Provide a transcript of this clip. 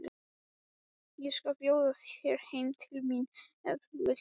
Ég skal bjóða þér heim til mín ef þú vilt!